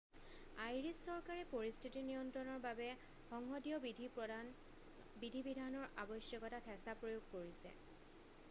Irish চৰকাৰে পৰিস্থিতি নিয়ন্ত্ৰণৰ বাবে সংসদীয় বিধি-বিধানৰ আৱশ্যকতাত হেঁচা প্ৰয়োগ কৰিছে